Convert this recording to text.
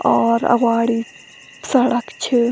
और अग्वाड़ी सड़क छ।